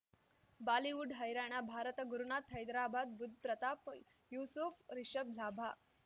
Bollywood ಹೈರಾಣ ಭಾರತ ಗುರುನಾಥ್ ಹೈದ್ರಾಬಾದ್ ಬುಧ್ ಪ್ರತಾಪ್ ಯೂಸುಫ್ ರಿಷಬ್ ಲಾಭ